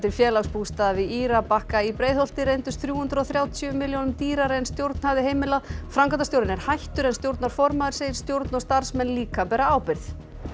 Félagsbústaða við Írabakka í Breiðholti reyndust þrjú hundruð og þrjátíu milljónum dýrari en stjórn hafði heimilað framkvæmdastjórinn er hættur en stjórnarformaður segir stjórn og starfsmenn líka bera ábyrgð